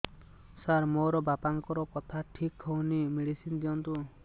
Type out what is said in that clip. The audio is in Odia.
ସାର ମୋର ବାପାଙ୍କର କଥା ଠିକ ହଉନି ମେଡିସିନ ଦିଅନ୍ତୁ